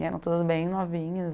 E eram todas bem novinhas.